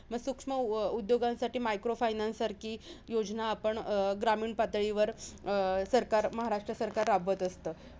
मग सूक्ष्म उ उद्योग उद्योगासाठी micro finance सारखी योजना आपण अं ग्रामीण पातळीवर अं सरकार महाराष्ट्र सरकार राबवत असतं.